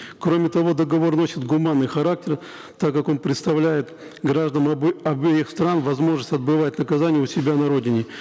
кроме того договор носит гуманный характер так как он предоставляет гражданам обеих стран возможность отбывать наказание у себя на родине